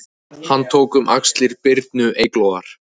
Hann tók um axlir Birnu Eyglóar